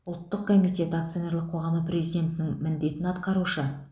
ұлттық комитеті акционерлік қоғамы президентінің міндетін атқарушы